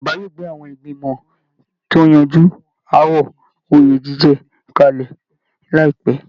Ìjọba yóò gbé àwọn ìgbìmọ̀ tó ń yanju aáwọ̀ oyè jíjẹ kalẹ̀ láìpẹ́